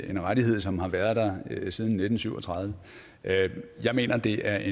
er en rettighed som har været der siden nitten syv og tredive jeg mener at det er